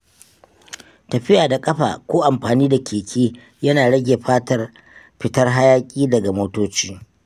Tafiya da ƙafa ko amfani da keke yana rage fitar hayaƙi daga motoci.